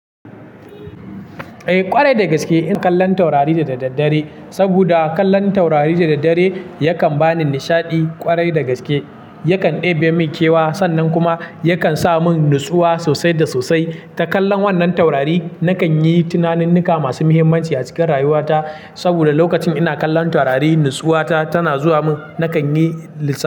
Eh kwarai da gaske ina kallon taurari da daddare saboda kallon taurari da daddare yakan bani nishaɗi kwarai da gaske. Yakan ɗebe mun kewa sannan kuma yakan sa mun natsuwa sosai da sosai. Da kallon wannan taurari na kan yi tunaninnika masu muhimmanci a cikin rayuwata. Saboda lokacin ina kallon taurari natsuwata tana zuwa mun. Na kan yi lissa.